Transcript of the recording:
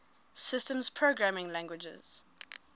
systems programming languages